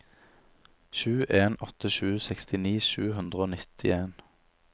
sju en åtte sju sekstini sju hundre og nittien